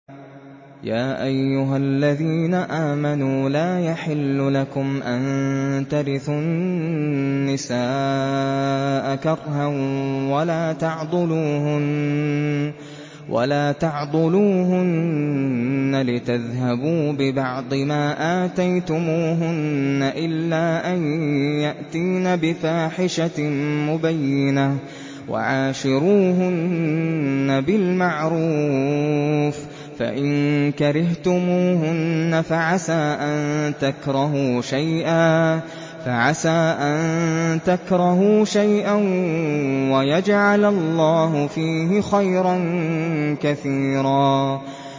يَا أَيُّهَا الَّذِينَ آمَنُوا لَا يَحِلُّ لَكُمْ أَن تَرِثُوا النِّسَاءَ كَرْهًا ۖ وَلَا تَعْضُلُوهُنَّ لِتَذْهَبُوا بِبَعْضِ مَا آتَيْتُمُوهُنَّ إِلَّا أَن يَأْتِينَ بِفَاحِشَةٍ مُّبَيِّنَةٍ ۚ وَعَاشِرُوهُنَّ بِالْمَعْرُوفِ ۚ فَإِن كَرِهْتُمُوهُنَّ فَعَسَىٰ أَن تَكْرَهُوا شَيْئًا وَيَجْعَلَ اللَّهُ فِيهِ خَيْرًا كَثِيرًا